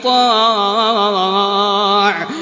يُطَاعُ